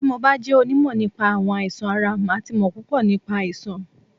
Tí mo bá jẹ́ onímọ̀ nípa àwọn àìsàn ara, màá ti mọ̀ púpò nípa àìsàn.